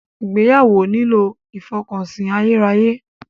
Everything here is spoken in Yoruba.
Ìgbéyàwó nílò ìfọkànsìn ayérayé.